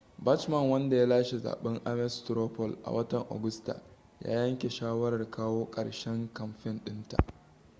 bachmann wanda ya lashe zaben ames straw poll a watan agusta ya yanke shawarar kawo karshen kamfen din ta